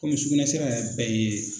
Kɔmi sugunɛsira yɛrɛ bɛɛ ye